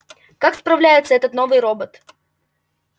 как справляется этот новый робот